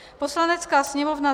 Poslanecká sněmovna